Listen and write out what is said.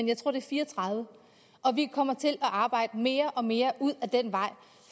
jeg tror fire og tredive og vi kommer til at arbejde mere og mere ud ad den vej